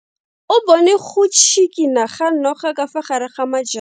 O bone go tshikinya ga noga ka fa gare ga majang.